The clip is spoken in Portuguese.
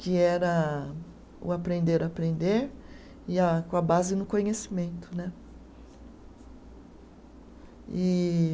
que era o aprender-aprender e a, com a base no conhecimento né e.